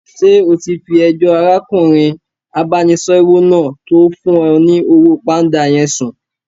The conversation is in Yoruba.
Ṣé o ti fi ẹjọ́ arákùnrin abánisẹ́wò náà tó fún ọ ní owó pánda yẹn sùn